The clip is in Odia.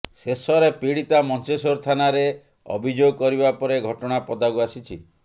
ଶେଷରେ ପୀଡ଼ିତା ମଞ୍ଚେଶ୍ବର ଥାନାରେ ଅଭିଯୋଗ କରିବା ପରେ ଘଟଣା ପଦାକୁ ଆସିଛି